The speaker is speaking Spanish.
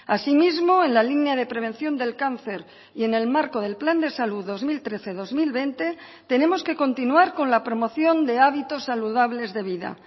asimismo en la línea de prevención del cáncer y en el marco del plan de salud dos mil trece dos mil veinte tenemos que continuar con la promoción de hábitos saludables de vida